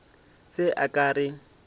se a ka a re